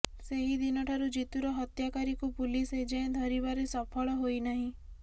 ସେହି ଦିନଠାରୁ ଜିତୁର ହତ୍ୟାକାରୀକୁ ପୁଲିସ ଏଯାଏଁ ଧରିବାରେ ସଫଳ ହୋଇ ନାହିଁ